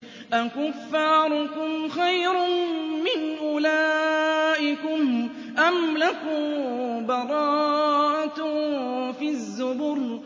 أَكُفَّارُكُمْ خَيْرٌ مِّنْ أُولَٰئِكُمْ أَمْ لَكُم بَرَاءَةٌ فِي الزُّبُرِ